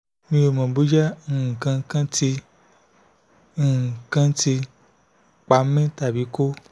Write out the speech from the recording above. mi ò mọ̀ bóyá nǹkan kan ti nǹkan kan ti pa mí tàbí kò